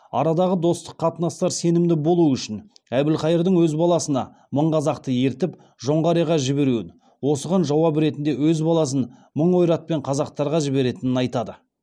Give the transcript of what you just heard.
арадағы достық қатынастар сенімді болу үшін әбілқайырдың өз баласына мың қазақты ертіп жоңғарияға жіберуін осыған жауап ретінде өз баласын мың ойратпен қазақтарға жіберетінін айтады